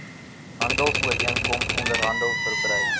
handelsooreenkoms onderhandel verbrei